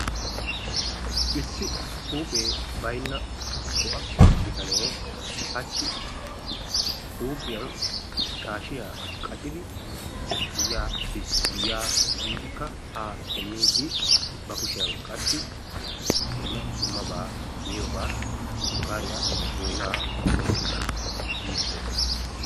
issi huuphee baynna bo'a bitanee hachi huuphiyan shaashiya qaccidi giyaa biis giyaa biidikka haa simmidi qassi ba kushiyan dumma dummabaa miyobaa shukaariya boynaa oyqqidi yiidi dees.